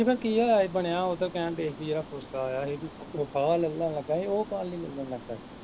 ਓਦਾ ਕੀ ਹਾਲ ਬਣਿਆ ਉਹ ਤਾਂ ਕਹਿਣ ਦਿਆਂ ਸੀ ਕਿ ਜਿਹੜਾਆਇਆ ਹੀ ਲੱਗਾ ਹੀ ਉਹ